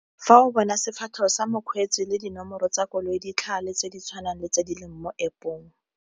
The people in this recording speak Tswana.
Fa o bona sefatlhego sa mokgweetsi le dinomoro tsa koloi tse di tshwanang le tse di leng mo App-ong.